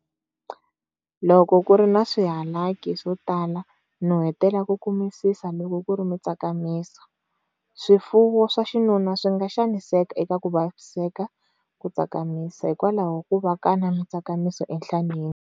Loko ku ri na swihalaki swo tala, nuhetela ku kumisisa loko ku ri mitsakamiso swifuwo swa xinuna swi nga xaniseka eka ku vaviseka ku tsakamisa, hikwalaho ku va ka na mitsakamiso enhlaneni.